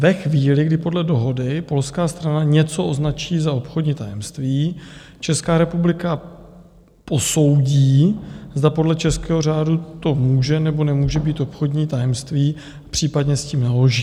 Ve chvíli, kdy podle dohody polská strana něco označí za obchodní tajemství, Česká republika posoudí, zda podle českého řádu to může, nebo nemůže být obchodní tajemství, případně s tím naloží.